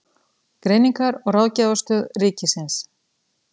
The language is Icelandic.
Greiningar- og ráðgjafarstöð ríkisins.